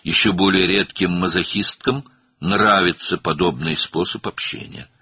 Daha da nadir olan mazoxist qadınlar belə ünsiyyət üsulunu bəyənirlər.